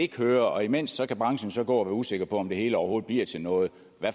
kører og imens kan branchen gå og være usikker på om det hele overhovedet bliver til noget